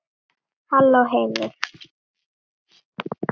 Halló heimur!